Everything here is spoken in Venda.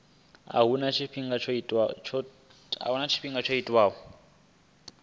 a huna tshifhinga tsho tiwaho